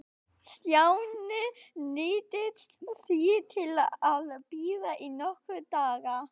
Stjáni neyddist því til að bíða í nokkra daga.